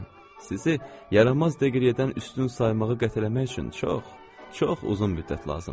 Sizi yaranmaz deqriyədən üstün saymağa qətlənmək üçün çox, çox uzun müddət lazımdır.